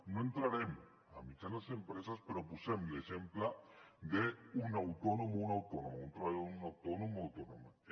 no entrarem a mitjanes empreses però posem l’exemple d’un autònom o una autònoma un treballador autònom o autònoma